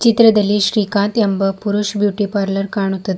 ಚಿತ್ರದಲ್ಲಿ ಶ್ರೀಕಾಂತ್ ಎಂಬ Purush beauty parlour ಕಾಣುತ್ತದೆ.